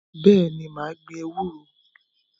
Bẹ́ẹ̀ni, mà á gbin ewúro.